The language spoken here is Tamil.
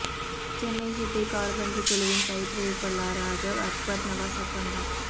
சென்னை சிட்டி காற்பந்துக் குழுவின் பயிற்றுவிப்பாளராக அக்பர் நவாஸ் ஒப்பந்தம்